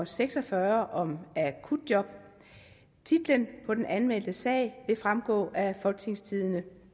seks og fyrre titlen på den anmeldte sag vil fremgå af folketingstidende